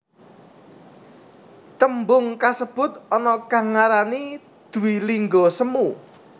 Tembung kasebut ana kang ngarani dwilingga semu